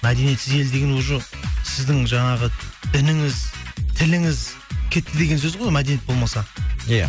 мәдниетсіз ел деген уже сіздің жаңағы дініңіз тіліңіз кетті деген сөз ғой мәдениет болмаса иә